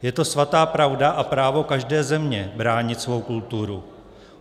Je to svatá pravda a právo každé země bránit svou kulturu.